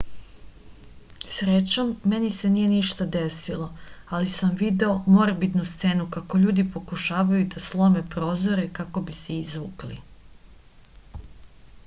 srećom meni se nije ništa desilo ali sam video morbidnu scenu kako ljudi pokušavaju da slome prozore kako bi se izvukli